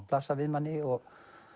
blasa við manni og